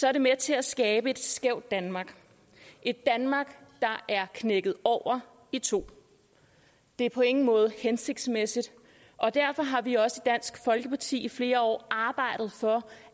er det med til at skabe et skævt danmark et danmark der er knækket over i to det er på ingen måde hensigtsmæssigt og derfor har vi også i dansk folkeparti i flere år arbejdet for